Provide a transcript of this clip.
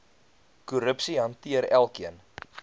korrupsie hanteer elkeen